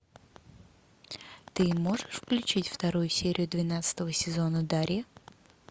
ты можешь включить вторую серию двенадцатого сезона дарья